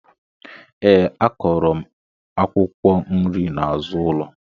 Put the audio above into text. Ee a kọro mụ akwụkwọ nri na azụ ụlọ.